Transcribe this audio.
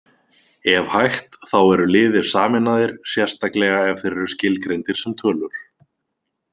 Ef hægt, þá eru liðir sameinaðir, sérstaklega ef þeir eru skilgreindir sem tölur.